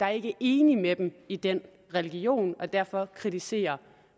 er enige med dem i den religion og derfor kritiserer